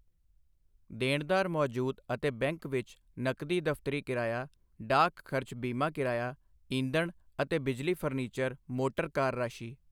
ਦੇਣਦਾਰ ਮੌਜੂਦ ਅਤੇ ਬੈਂਕ ਵਿੱਚ ਨਕਦੀ ਦਫ਼ਤਰੀ ਕਿਰਾਇਆ ਡਾਕ ਖਰਚ ਬੀਮਾ ਕਿਰਾਇਆ ਈਂਧਣ ਅਤੇ ਬਿਜਲੀ ਫਰਨੀਚਰ ਮੋਟਰ ਕਾਰ ਰਾਸ਼ੀ।